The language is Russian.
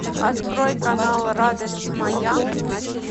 открой канал радость моя на